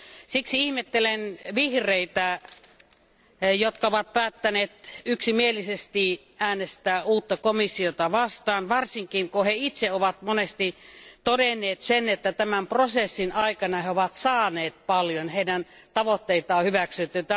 Siksi ihmettelen vihreitä, jotka ovat päättäneet yksimielisesti äänestää uutta komissiota vastaan, varsinkin kun he itse ovat monesti todenneet, että tämän prosessin aikana he ovat saaneet paljon ja heidän tavoitteitaan on hyväksytty.